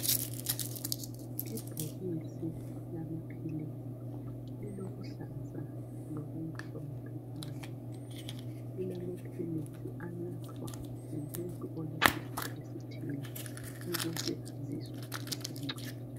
Ibhokisi elamaphilisi lilokuluhlaza lokumhlophe phandle lilamaphilisi anathwa ngumuntu olesifo esithile ukuze azizwe esengcono.